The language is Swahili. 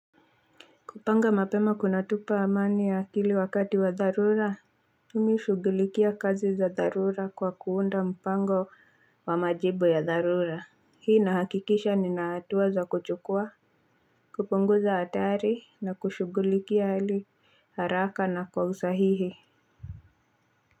Kupanga mapema kunatupa amani ya akili wakati wa dharura mimi hushughulikia kazi za dharura kwa kuunda mpango kwa majibu ya dharura Hii inahakikisha nina hatua za kuchukua kupunguza hatari na kushughulikia hili haraka na kwa usahihi.